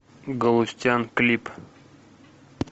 галустян клип